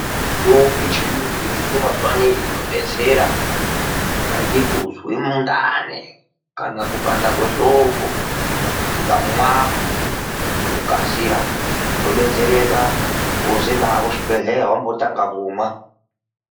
Mitombo yechiyungu iriyo mazuwa anei inobetsera, kungaite kuzwe mundani kana kupanda kwehloko. Ukamwa ngokukasira unobetsereka wozoenda hako kuchibhedhleya wambotanga kumwa.